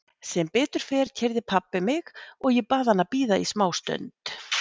Sem betur fer keyrði pabbi mig og ég bað hann að bíða í smá stund.